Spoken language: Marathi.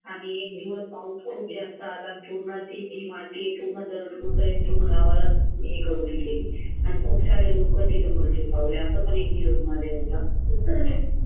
आणि ही माती गावाला हे करून गेली आणि खूप सारे लोक तिथं मृत्यू पावले